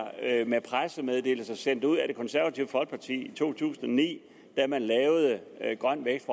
med pressemeddelelser sendt ud af det konservative folkeparti i to tusind og ni da man lavede grøn vækst